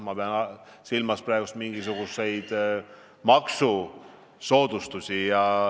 Ma pean silmas mingisuguseid maksusoodustusi.